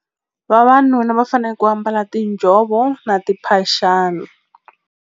Vavanuna va fanele ku ambala tinjhovo na timphaxana.